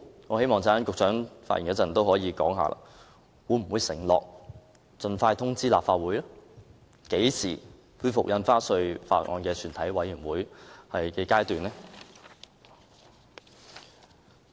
我希望局長稍後發言時可以告知我們，會否承諾盡快通知立法會，何時會恢復《條例草案》的全體委員會審議階段的討論？